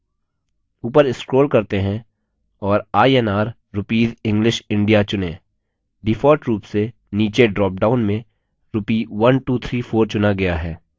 ऊपर scroll करते हैं और inr rupees english india चुनें default rupees से नीचे ड्रॉपडाउन में rupee 1234 चुना गया है